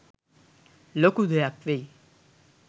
ලොකු දෙයක් වෙයි.